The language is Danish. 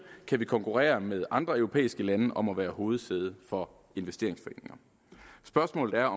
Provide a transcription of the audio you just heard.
kan vi konkurrere med andre europæiske lande om at være hovedsæde for investeringsforeninger spørgsmålet er